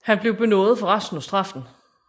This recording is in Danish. Han blev benådet for resten af straffen